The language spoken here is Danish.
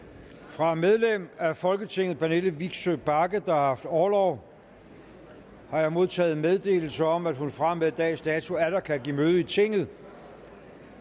fra medlem af folketinget pernille vigsø bagge der har haft orlov har jeg modtaget meddelelse om at hun fra og med dags dato atter kan give møde i tinget